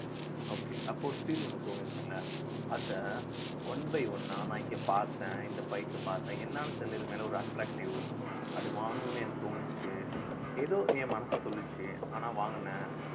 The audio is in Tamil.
okay அப்ப ஒரு feel ஒண்ணு தோணிருக்கும்ல அத one by one ஆ நான் இங்க பார்த்தேன் இந்த bike அ பார்த்தேன் என்னன்னு தெரியலே இது மேல ஒரு attractive அத வாங்கணும்னு எனக்கு தோணுச்சு ஏதோ என் மனசு சொல்லுச்சு ஆனா வாங்கினேன்